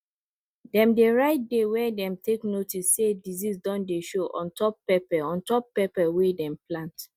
dem dey write day wen dem take notice say disease don dey show on top pepper on top pepper wehn dem plant